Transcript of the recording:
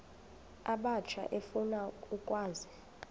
abatsha efuna ukwazi